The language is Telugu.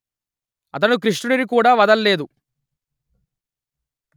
అతడు కృష్ణుడిని కూడా వద లేదు